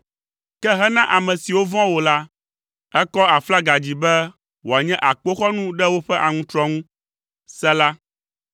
Ke hena ame siwo vɔ̃a wò la, èkɔ aflaga dzi be wòanye akpoxɔnu ɖe woƒe aŋutrɔ ŋu. Sela